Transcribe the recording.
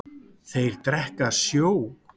Þeir drekka sjó.